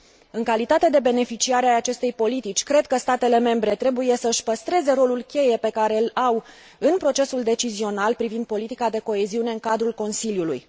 În calitate de beneficiari ai acestei politici, cred că statele membre trebuie să și păstreze rolul cheie pe care îl au în procesul decizional privind politica de coeziune în cadrul Consiliului.